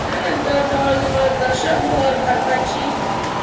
त्यानंतर जवळजवळ दशकभर भारताची